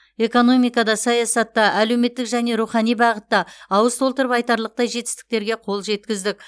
экономикада саясатта әлеуметтік және рухани бағытта ауыз толтырып айтарлықтай жетістіктерге қол жеткіздік